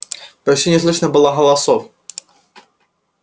почти не слышно было голосов